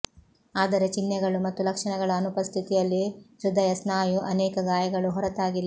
ಆದರೆ ಚಿಹ್ನೆಗಳು ಮತ್ತು ಲಕ್ಷಣಗಳ ಅನುಪಸ್ಥಿತಿಯಲ್ಲಿ ಹೃದಯ ಸ್ನಾಯು ಅನೇಕ ಗಾಯಗಳು ಹೊರತಾಗಿಲ್ಲ